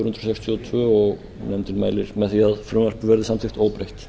sex og nefndin hefur lagt til að frumvarpið verði samþykkt óbreytt